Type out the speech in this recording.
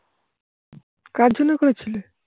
কার জন্য করেছিলে?